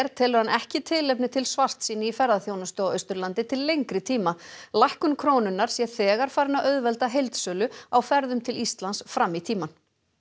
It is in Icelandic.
telur hann ekki tilefni til svartsýni í ferðaþjónustu á Austurlandi til lengri tíma lækkun krónunnar sé þegar farin að auðvelda heildsölu á ferðum til Íslands fram í tímann